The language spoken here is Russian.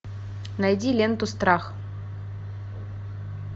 найди ленту страх